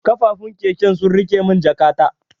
Kafufun keken sun rike mun jakata.